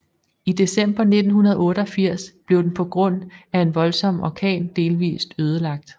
I december 1988 blev den på grund af en voldsom orkan delvist ødelagt